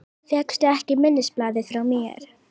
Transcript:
Fékkstu ekki minnisblaðið frá mér?